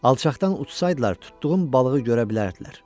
Alçaqdan uçsaydılar tutduğum balığı görə bilərdilər.